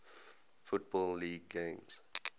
football league games